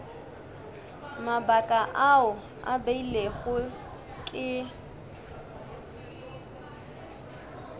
mabaka ao a beilwego ke